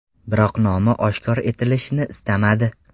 Biroq nomi oshkor etilishini istamadi.